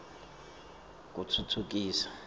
kutfutfukisa